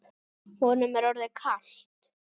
Honum er orðið kalt.